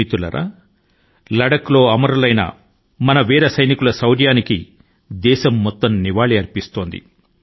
మిత్రులారా లద్దాఖ్ లో అమరులైన మన సైనికుల ధైర్యాని కి నివాళుల ను అర్పించడంలో దేశం మొత్తం కలిసి వస్తోంది